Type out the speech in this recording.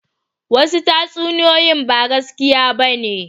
Wasu tatsuniyoyin ba gaskiya ba ne